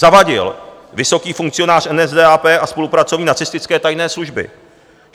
Zawadil, vysoký funkcionář NSDAP a spolupracovník nacistické tajné služby.